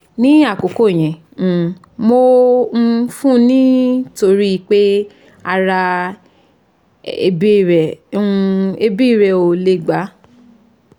ni akoko yen um mo um fun ni tori pe ara ebi re o ebi re o le gba